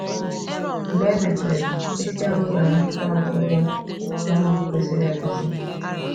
Mgbe e mesịrị, isi awọ ga-anata ọgwụgwọ na ọgwụ kwesịrị ekwesị.